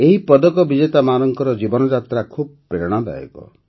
ଏହି ପଦକ ବିଜେତାମାନଙ୍କର ଜୀବନଯାତ୍ରା ଖୁବ୍ ପ୍ରେରଣାଦାୟକ